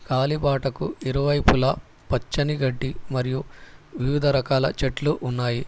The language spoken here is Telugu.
కాలిబాటకు ఇరువైపులా పచ్చని గడ్డి మరియు వివిధ రకాల చెట్లు ఉన్నాయి.